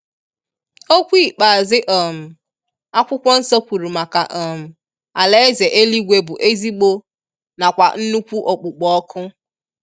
Okwu ikpeazụ um akwụkwọ nsọ kwụrụ maka um alaeze éluigwe bụ ezigbo na kwa nnukwu okpukpo ọkụ.